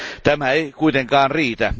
Tämä ei kuitenkaan riitä.